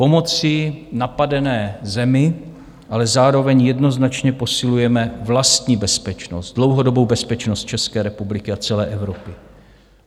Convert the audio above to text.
Pomocí napadené zemi ale zároveň jednoznačně posilujeme vlastní bezpečnost, dlouhodobou bezpečnost České republiky a celé Evropy.